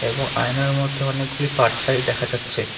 এবং আয়নার মধ্যে অনেকগুলি পারছাই দেখা যাচ্ছে।